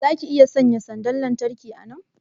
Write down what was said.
zaka iya sanya sanda lantarki kuwa a nan?